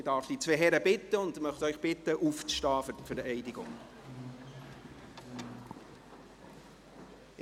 Ich darf die beiden Herren und Sie alle bitten, sich für die Vereidigung zu erheben.